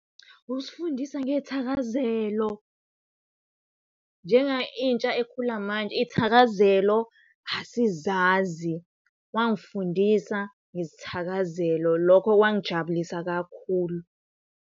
Ukusifundisa ngey'thakazelo njenga intsha ekhula manje iy'thakazelo asizazi. Wangifundisa ngezithakazelo lokho kwangijabulisa kakhulu.